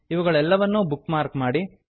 ಅವುಗಳೆಲ್ಲವನ್ನೂ bookmark ಮಾಡಿ